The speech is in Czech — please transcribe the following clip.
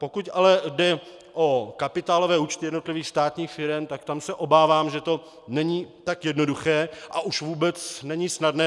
Pokud ale jde o kapitálové účty jednotlivých státních firem, tak tam se obávám, že to není tak jednoduché a už vůbec není snadné.